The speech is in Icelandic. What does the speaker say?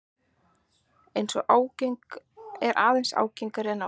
Er aðeins ágengari en áður.